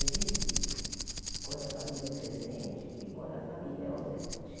É visível quando a família é presente e quando a família é ausente.